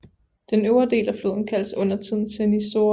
Den øvre del af floden kaldes undertiden Cernișoara